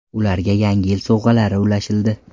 Ularga yangi yil sovg‘alari ulashildi.